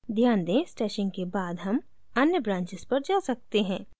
ध्यान दें stashing के बाद हम अन्य branches पर जा सकते हैं